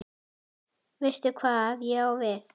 Veistu hvað ég á við?